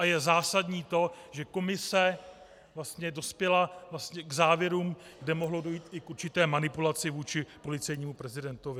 A je zásadní to, že komise vlastně dospěla k závěrům, kde mohlo dojít i k určité manipulaci vůči policejnímu prezidentovi.